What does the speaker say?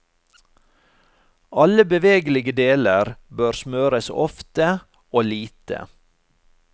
Alle bevegelige deler bør smøres ofte og lite.